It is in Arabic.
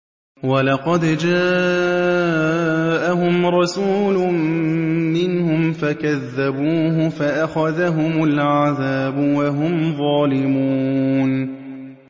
وَلَقَدْ جَاءَهُمْ رَسُولٌ مِّنْهُمْ فَكَذَّبُوهُ فَأَخَذَهُمُ الْعَذَابُ وَهُمْ ظَالِمُونَ